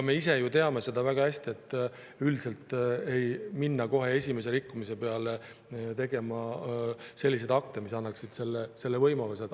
Me ise ju teame väga hästi, et üldiselt ei minda kohe esimese rikkumise peale tegema selliseid akte, mis annaksid sellise võimaluse.